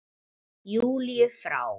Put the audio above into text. Júlíu frá.